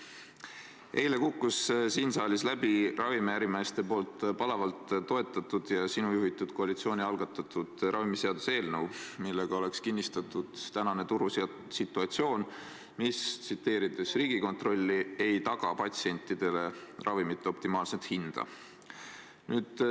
Eile kukkus siin saalis läbi ravimiärimeeste poolt palavalt toetatud ja sinu juhitud koalitsiooni algatatud ravimiseaduse eelnõu, millega oleks kinnistatud tänane turusituatsioon, mis, tsiteerides Riigikontrolli, ei taga patsientidele ravimite optimaalset hinda.